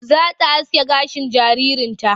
Za ta aske gashin jaririn.